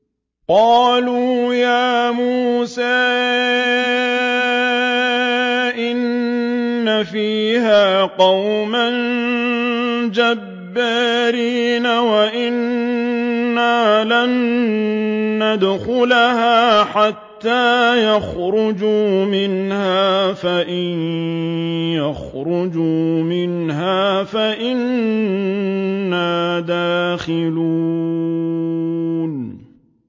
قَالُوا يَا مُوسَىٰ إِنَّ فِيهَا قَوْمًا جَبَّارِينَ وَإِنَّا لَن نَّدْخُلَهَا حَتَّىٰ يَخْرُجُوا مِنْهَا فَإِن يَخْرُجُوا مِنْهَا فَإِنَّا دَاخِلُونَ